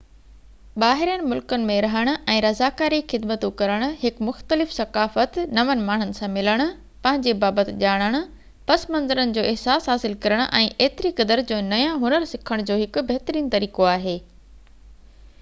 ٻاهرين ملڪن ۾ رهڻ ۽ رضاڪاري خدمتون ڪرڻ هڪ مختلف ثقافت نون ماڻهن سان ملڻ پنهنجي بابت ڄاڻڻ پس منظرن جو احساس حاصل ڪرڻ ۽ ايتري قدر جو نيا هنر سکڻ جو هڪ بهترين طريقو آهي